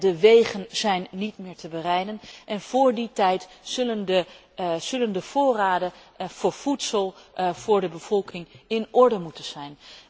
De wegen zijn niet meer te berijden, en voor die tijd zullen de voorraden voor voedsel voor de bevolking in orde moeten zijn.